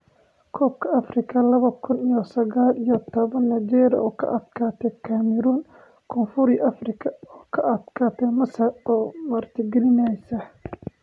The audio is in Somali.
Kobka afrika laba kun iyo sagal iyo tobaan: Nigeria oo ka adkaatay Cameroon, Koonfur Afrika oo ka adkaatay Masar oo martigelinaysa